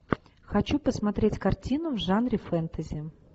хочу посмотреть картину в жанре фэнтези